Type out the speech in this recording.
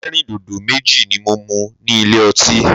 Ẹlẹ́rìndòdò méjì ni mo mu ní ilé ọtí.